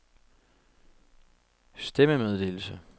stemmemeddelelse